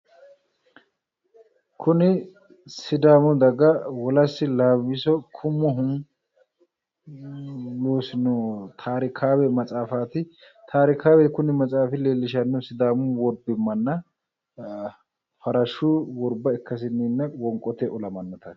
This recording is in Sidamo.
Kuni sidaamu daga wolaasi laawisohu loosino tarikawe maxaaffati tarikawe kuni leelishanohu farashu worba ikkasinna